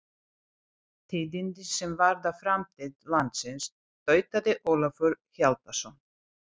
Tíðindi sem varða framtíð landsins, tautaði Ólafur Hjaltason.